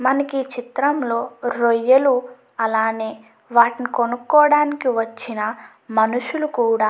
మనకి చిత్రంలో రొయ్యలు అలానే వాటిని కొనుక్కోడానికి వచ్చిన మనుషులు కూడా --